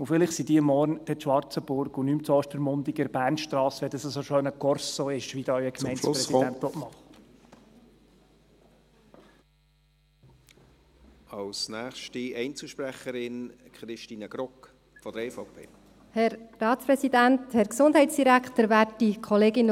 Vielleicht sind sie morgen in Schwarzenburg, und nicht mehr in Ostermundigen an der Bernstrasse, wenn dies ein so schöner Korso istwie ihn der Gemeindepräsident machen will.